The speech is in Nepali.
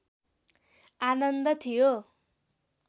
आनन्द थियो